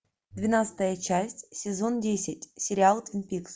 двенадцатая часть сезон десять сериал твин пикс